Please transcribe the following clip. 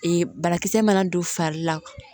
Ee banakisɛ mana don fari la